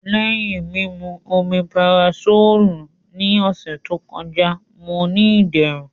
Lẹhin mimu Omeparasolu ni ọsẹ to kọja, Mo ni iderun.